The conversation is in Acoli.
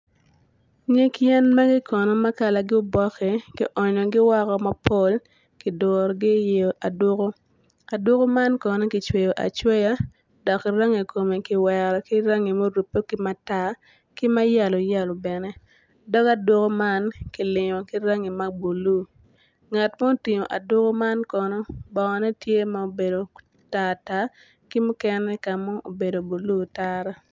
Nyig yen magi kono ma kalagi obokki ki onyogi woko mapol ki durugi i aduku, aduku man kono kicweyogi acweya dok rangi kome ki wero ki rangi ma orupe ki matar ki ma yelo yelo bene dog aduku man kilingo ki rangi mabulu ngat ma tingo aduko man kono bongone tye ma obedo tar tar ki mukene kama obedo blu otara